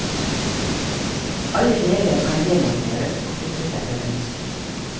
Alle deler kan demonteres og flyttes etter ønske.